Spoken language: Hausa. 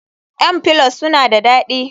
m pollows suna da dadi